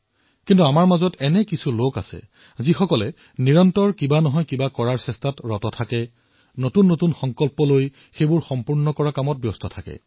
কিন্তু কিছুমান লোক এনেকুৱাও আছে যিয়ে নিৰন্তৰে কিবা নহয় কিবা এটা নতুন কৰি থাকে নতুন নতুন সংকল্প পূৰণ কৰি থাকে